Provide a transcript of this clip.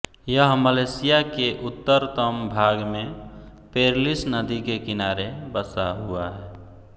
यह मलेशिया के उत्तरतम भाग में पेरलिस नदी के किनारे बसा हुआ है